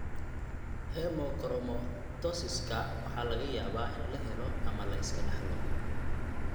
Hemochromatosiska waxaa laga yaabaa in la helo ama la iska dhaxlo.